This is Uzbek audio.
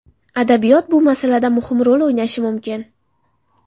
Adabiyot bu masalada muhim rol o‘ynashi mumkin.